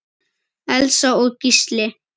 Elsa og Gísli.